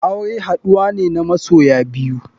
Aure haduwa ne na masoya biyu.